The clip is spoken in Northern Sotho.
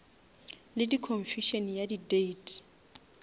le confusion ya di date